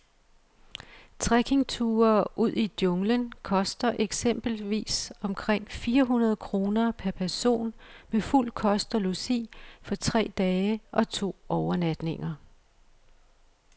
Trekkingture ud i junglen koster eksempelvis omkring fire hundrede kroner per person med fuld kost og logi for tre dage og to overnatninger.